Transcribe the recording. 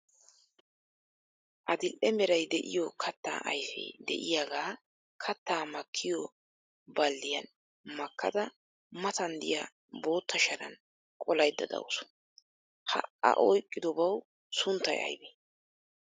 Adl'e meray de"iyo katta ayfee de"iyaagaa kattaa makkiyoo balddiyaan makkada matan diya bootta sharan qolaydda dawusu. Ha A oyqqidobawu sunttay aybee?